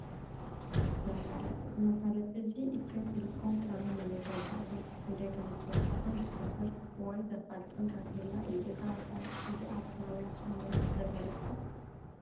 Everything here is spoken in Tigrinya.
መፋለጢ፡- እዚ መፋለጢ እዚ ኢትዮ-ቴሌኮም ካብይ ናበይ ደረጃ ዕብየት ብኽንደይ ከምዝወሰኸን ዝሕብር ወይ ዘፋልጥን ታፔላ እዩ፡፡ እዛ መፍለጢት እዚኣ ኣብ ከባቢ ኣክሱም ዩኒቨርስቲ ዘላ ዶ ትኾን?